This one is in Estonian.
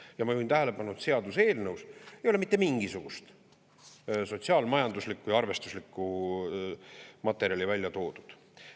Ja ma juhin tähelepanu, et seaduseelnõus ei ole mitte mingisugust sotsiaal-majanduslikku või arvestuslikku materjali välja toodud.